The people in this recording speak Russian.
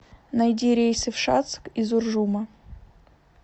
найди рейсы в шацк из уржума